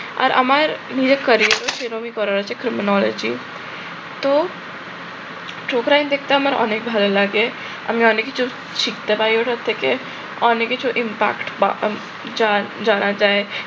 আর আমার সেভাবেই করার আছে খুব তো ঠোকরাইন দেখতে আমার অনেক ভালো লাগে, আমি অনেক কিছু শিখতে পারি ওটা থেকে, অনেক কিছু impact বা আহ জা জানা যায়